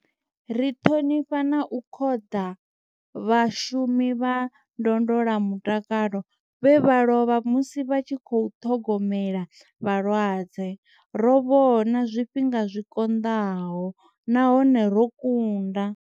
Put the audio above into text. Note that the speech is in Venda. Ri ṱhonifha na u khoḓa vhashumi vha ndondola mutakalo vhe vha lovha musi vha tshi khou ṱhogomela vhalwadze. Ro vhona zwifhinga zwi konḓaho nahone ro kunda.